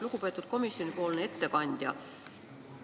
Lugupeetud komisjonipoolne ettekandja!